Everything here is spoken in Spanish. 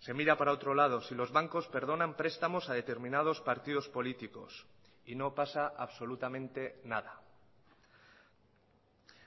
se mira para otro lado si los bancos perdonan prestamos a determinados partidos políticos y no pasa absolutamente nada